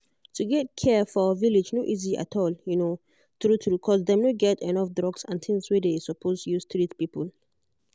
to get care for village no easy at all um true true cause dem no get enough drugs and things wey dem suppose use treat people.